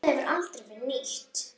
Þetta hefur aldrei verið nýtt.